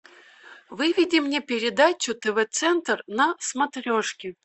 выведи мне передачу тв центр на смотрешке